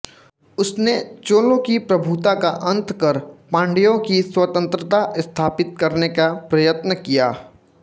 उसने चोलों की प्रभुता का अंत कर पांड्यों की स्वतंत्रता स्थापित करने का प्रयत्न किया